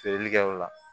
Feereli kɛ o la